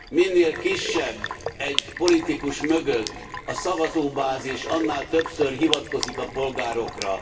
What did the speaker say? Minél kisebb egy politikus mögött a szavazóbázis, annál többször hivatkozik a polgárokra.